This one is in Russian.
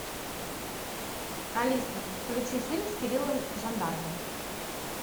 алиса включи фильм с кириллом жандаровым